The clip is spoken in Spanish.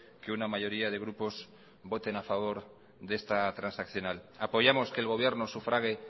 que una mayoría de grupos voten a favor de esta transaccional apoyamos que el gobierno sufrague